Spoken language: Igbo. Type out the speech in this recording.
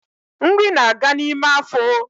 Nri na aga n’ime afo